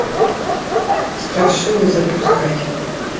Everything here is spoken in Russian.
страшилы запускай